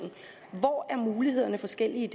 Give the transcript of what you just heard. hvor er mulighederne forskellige